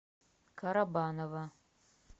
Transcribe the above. карабанова